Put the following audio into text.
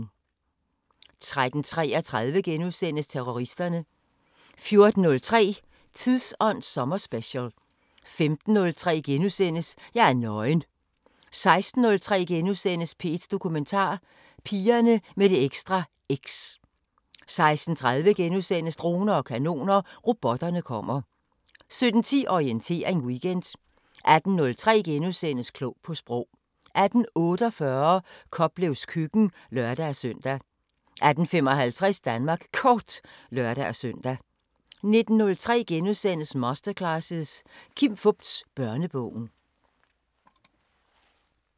13:33: Terroristerne * 14:03: Tidsånd sommerspecial 15:03: Jeg er nøgen * 16:03: P1 Dokumentar: Pigerne med det ekstra X * 16:30: Droner og kanoner: Robotterne kommer * 17:10: Orientering Weekend 18:03: Klog på Sprog * 18:48: Koplevs køkken (lør-søn) 18:55: Danmark Kort (lør-søn) 19:03: Masterclasses – Kim Fupz: Børnebogen *